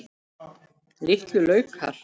Litlu laukar.